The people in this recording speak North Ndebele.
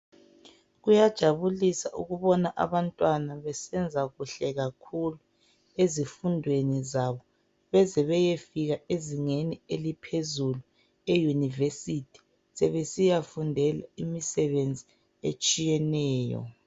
Kuyajabulisa ukubona abantwana besenza kuhle kakhulu ezifundweni zabo bezebeyefika ezingeni eliphezulu, eUniversity sebesiyafundela imisebenzi etshiyeneyo.